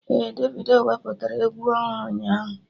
Ee, Davido wepụtara egwu ọhụrụ ụnyaahụ